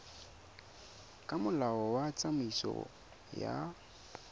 ka molao wa tsamaiso ya